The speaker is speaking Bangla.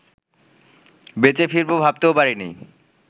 বেঁচে ফিরবো ভাবতেও পারিনি